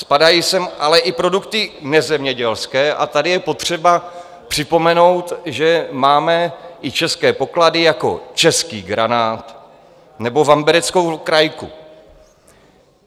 Spadají sem ale i produkty nezemědělské a tady je potřeba připomenout, že máme i české poklady jako český granát nebo vambereckou krajku.